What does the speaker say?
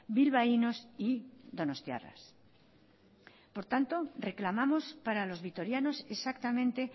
bilbaínos y donostiarras por tanto reclamamos para los vitorianos exactamente